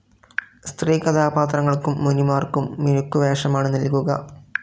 സ്ത്രീ കഥാപാത്രങ്ങൾക്കും മുനിമാർക്കും മിനുക്കുവേഷമാണ് നൽകുക.